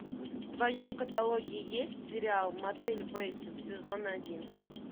в твоем каталоге есть сериал мотель бейтсов сезон один